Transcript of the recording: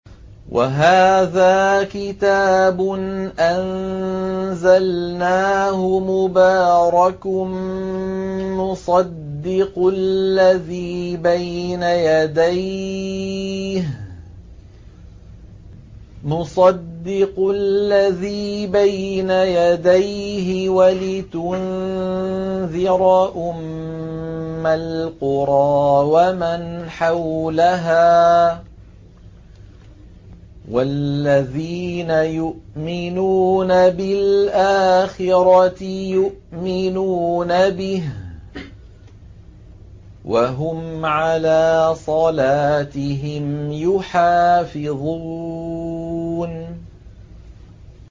وَهَٰذَا كِتَابٌ أَنزَلْنَاهُ مُبَارَكٌ مُّصَدِّقُ الَّذِي بَيْنَ يَدَيْهِ وَلِتُنذِرَ أُمَّ الْقُرَىٰ وَمَنْ حَوْلَهَا ۚ وَالَّذِينَ يُؤْمِنُونَ بِالْآخِرَةِ يُؤْمِنُونَ بِهِ ۖ وَهُمْ عَلَىٰ صَلَاتِهِمْ يُحَافِظُونَ